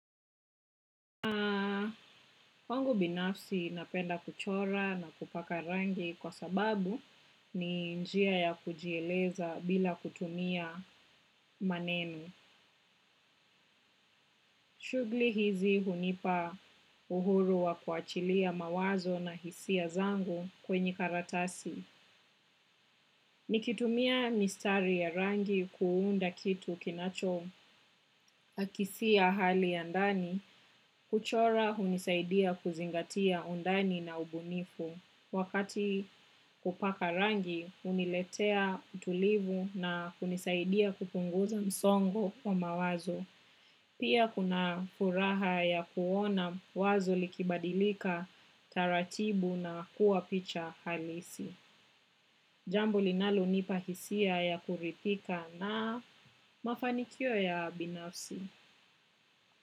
Kwangu binafsi napenda kuchora na kupaka rangi kwa sababu ni njia ya kujieleza bila kutumia maneno. Shughuli hizi hunipa uhuru wa kuachilia mawazo na hisia zangu kwenye karatasi. Nikitumia mistari ya rangi kuunda kitu kinacho akisia hali ya ndani, kuchora hunisaidia kuzingatia undani na ubunifu. Wakati kupaka rangi, huniletea utulivu na kunisaidia kupunguza msongo wa mawazo. Pia kuna furaha ya kuona wazo likibadilika taratibu na kuwa picha halisi. Jambo linalonipa hisia ya kuridhika na mafanikio ya binafsi.